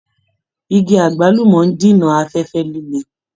Igi àgbúlùmọ́ ń dènà afẹ́fẹ́ líle